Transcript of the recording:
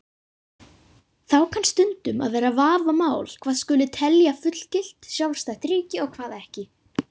Þá kann stundum að vera vafamál hvað skuli telja fullgilt, sjálfstætt ríki og hvað ekki.